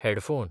headphone